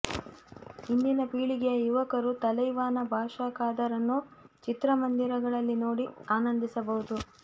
ಇಂದಿನ ಪೀಳಿಗೆಯ ಯುವಕರು ತಲೈವಾನ ಬಾಷಾ ಖದರ್ ಅನ್ನು ಚಿತ್ರಮಂದಿರಗಳಲ್ಲಿ ನೋಡಿ ಆನಂದಿಸಬಹುದು